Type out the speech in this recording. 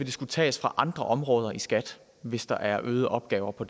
skulle tages fra andre områder i skat hvis der er øgede opgaver på